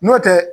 N'o tɛ